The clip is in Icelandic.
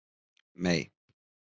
Mey